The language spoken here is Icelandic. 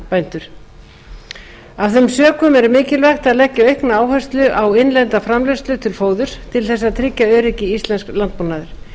hænsnabændur af þeim sökum er mikilvægt að leggja aukna áherslu á innlenda framleiðslu fóðurs til þess að tryggja öryggi íslensks landbúnaðar